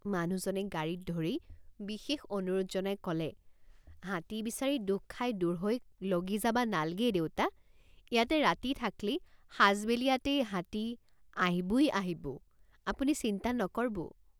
মানুহজনে গাড়ীত ধৰি বিশেষ অনুৰোধ জনাই কলে হাতী বিচাৰি দুখ খাই দুঢ়ৈক লগি যাবা নাল্গেই দেউতাইয়াতে ৰাতি থাক্লি সাজবেলিয়াতেই হাতী আইহ্বুই আইহ্ববুআপুনি চিন্তা নকৰবু।